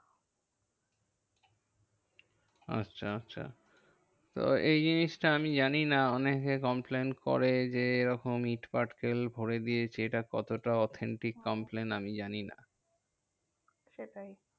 আচ্ছা আচ্ছা, তো এই জিনিসটা আমি জানিনা অনেকে complain করে যে, এরকম ইট পাটকেল ভরে দিয়েছে এটা কতটা authentic comlain আমি জানি না। সেটাই